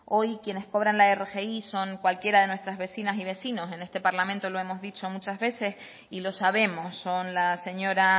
hoy quienes cobran la rgi son cualquiera de nuestras vecinas y vecinos en este parlamento lo hemos dicho muchas veces y lo sabemos son la señora